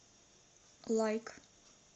лайк